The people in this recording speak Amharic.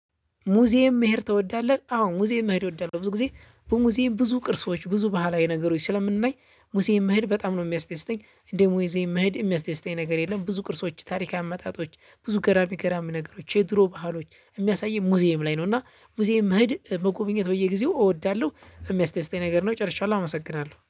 ሙዚየም መሄድ ትወዳለህ? አዎ ሙዚየም መሄድ እወዳለሁ። ብዙ ጊዜ በሙዚየም ብዙ ቅርሶች ብዙ ባህላዊ ነገሮች ስለምንናይ ሙዚዬም መሄድ በጣም ነው የሚያስተደስተኝ። እንደ ሙዚዬም መሄድ የሚያስደስተኝ ነገር የለም። ብዙ ቅርሶች ታሪካዊ አመጣጦች ብዙ ገራሚ ገራሚ ነገሮች የድሮ ባህሎች የሚያሳይ ሙዚየም ላይ ነው። እና ሙዚየም መሄድ መጎብኘት በየጊዜው እወዳለሁ የሚያስደስተኝ ነገር ነው ጨርሻለሁ። አመሰግናለሁ